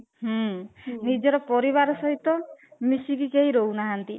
ହୁଁ ନିଜର ପରିବାର ସହିତ ମିଶିକି କେହି ରହୁନାହାନ୍ତି